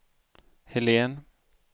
Helene